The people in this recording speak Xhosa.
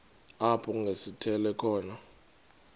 apho kungasithela khona